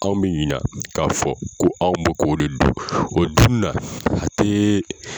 Kanw bɛ ɲina k'a fɔ ko anw bɛ k'o de dun, o dunina a tɛɛɛ.